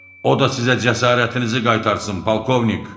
O da sizə cəsarətinizi qaytarsın, polkovnik.